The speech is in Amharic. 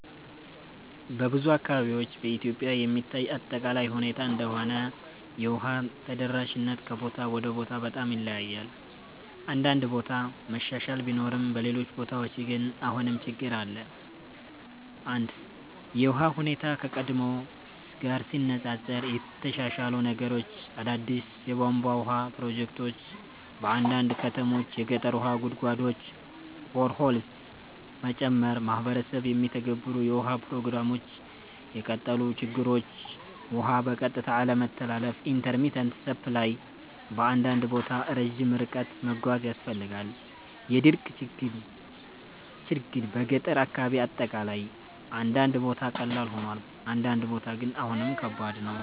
በብዙ አካባቢዎች (በኢትዮጵያ የሚታይ አጠቃላይ ሁኔታ እንደሆነ) የውሃ ተደራሽነት ከቦታ ወደ ቦታ በጣም ይለያያል። አንዳንድ ቦታ መሻሻል ቢኖርም በሌሎች ቦታዎች ግን አሁንም ችግኝ አለ። 1) የውሃ ሁኔታ (ከቀድሞ ጋር ሲነፃፀር) የተሻሻሉ ነገሮች አዳዲስ የቧንቧ ውሃ ፕሮጀክቶች በአንዳንድ ከተሞች የገጠር ውሃ ጉድጓዶች (boreholes) መጨመር ማህበረሰብ የሚተገበሩ የውሃ ፕሮግራሞች የቀጠሉ ችግኞች ውሃ በቀጥታ አለመተላለፍ (intermittent supply) በአንዳንድ ቦታ ረጅም ርቀት መጓዝ ያስፈልጋል የድርቅ ችግኝ በገጠር አካባቢ አጠቃላይ አንዳንድ ቦታ ቀላል ሆኗል፣ አንዳንድ ቦታ ግን አሁንም ከባድ ነው።